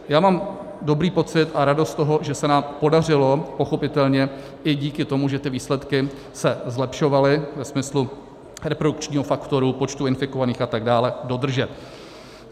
Já mám dobrý pocit a radost z toho, že se nám podařilo pochopitelně i díky tomu, že ty výsledky se zlepšovaly ve smyslu reprodukčního faktoru, počtu infikovaných a tak dále, dodržet.